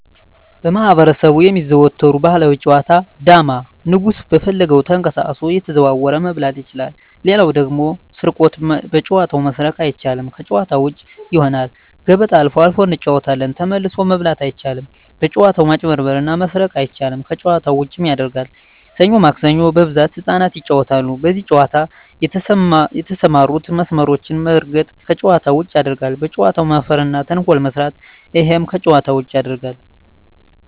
በማህበረሰቡ የሚዘወተሩ ባህላዊ ጨዋታ ዳማ ንጉሡ በፈለገው ተቀሳቅሶ እየተዘዋወረ መብላት ይችላል ሌላው ደግሞ ስርቆት በጨዋታው መስረቅ አይቻልም ከጭዋታ ውጭ ይሆናል ገበጣ አልፎ አልፎ እንጫወታለን ተመልሶ መብላት አይቻልም በጭዋታው መጭበርበር እና መስረቅ አይቻልም ከጨዋታው ዉጭም ያረጋል ሠኞ ማክሰኞ በብዛት ህጻናት ይጫወታሉ በዚህ ጨዋታ የተሠማሩትን መስመሮች መርገጥ ከጨዋታ ውጭ ያረጋል በጨዋታው መፈረ እና ተንኮል መስራት እሄም ከጨዋታ ውጭ ያረጋል